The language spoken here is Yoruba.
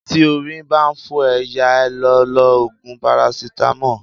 Tí orí ń bá fọ́ ẹ, yá a lọ lo Ògùn parasítámọ̀.